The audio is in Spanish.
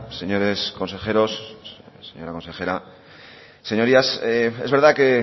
señores consejeros señora consejera señorías es verdad que